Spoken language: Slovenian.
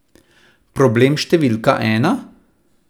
Problem številka ena?